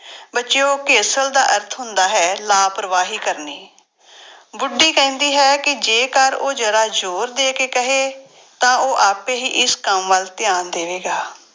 ਬੱਚਿਓ ਘੇਸਲ ਦਾ ਅਰਥ ਹੁੰਦਾ ਹੈ ਲਾਪਰਵਾਹੀ ਕਰਨੀ ਬੁੱਢੀ ਕਹਿੰਦੀ ਹੈ ਕਿ ਜੇਕਰ ਉਹ ਜ਼ਰਾ ਜ਼ੋਰ ਦੇ ਕੇ ਕਹੇ ਤਾਂ ਉਹ ਆਪੇ ਹੀ ਇਸ ਕੰਮ ਵੱਲ ਧਿਆਨ ਦੇਵੇਗਾ